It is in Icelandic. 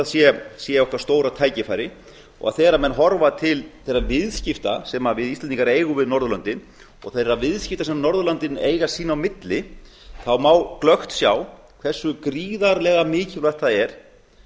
að sé okkar stóra tækifæri þegar menn horfa til þeirra viðskipta sem við íslendingar eigum við norðurlöndin og þeirra viðskipta sem norðurlöndin eiga sín á milli má glöggt sjá hversu gríðarlega mikilvægt það er